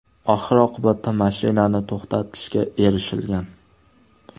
Oxir-oqibatda mashinani to‘xtatishga erishilgan.